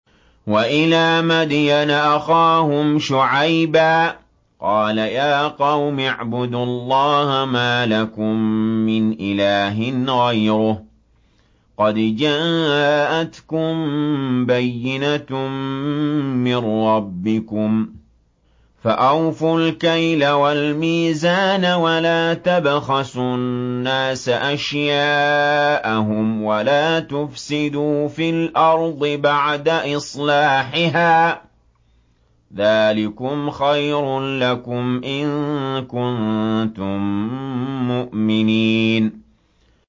وَإِلَىٰ مَدْيَنَ أَخَاهُمْ شُعَيْبًا ۗ قَالَ يَا قَوْمِ اعْبُدُوا اللَّهَ مَا لَكُم مِّنْ إِلَٰهٍ غَيْرُهُ ۖ قَدْ جَاءَتْكُم بَيِّنَةٌ مِّن رَّبِّكُمْ ۖ فَأَوْفُوا الْكَيْلَ وَالْمِيزَانَ وَلَا تَبْخَسُوا النَّاسَ أَشْيَاءَهُمْ وَلَا تُفْسِدُوا فِي الْأَرْضِ بَعْدَ إِصْلَاحِهَا ۚ ذَٰلِكُمْ خَيْرٌ لَّكُمْ إِن كُنتُم مُّؤْمِنِينَ